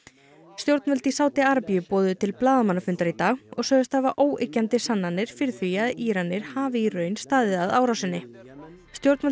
stjórnvöld í Sádi Arabíu boðuðu til blaðamannafundar í dag og sögðust hafa óyggjandi sannanir fyrir því að Íranir hafi í raun staðið að árásinni stjórnvöld